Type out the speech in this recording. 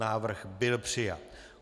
Návrh byl přijat.